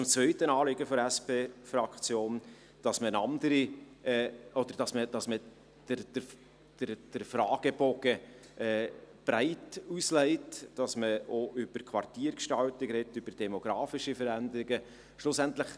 Zum zweiten Anliegen der SP-Fraktion, dass man den Fragebogen breit auslegt, dass man auch über Quartiergestaltungen, über demografische Veränderung spricht: